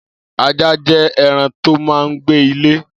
Ajá jẹ̀ ẹran tó mà n gbé ilé